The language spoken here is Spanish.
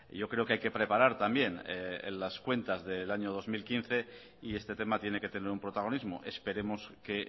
yo creo que hay que preparar también las cuentas del año dos mil quince y este tema tiene que tener un protagonismo esperemos que